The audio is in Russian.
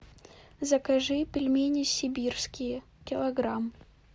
закажи пельмени сибирские килограмм